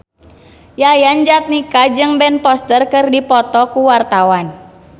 Yayan Jatnika jeung Ben Foster keur dipoto ku wartawan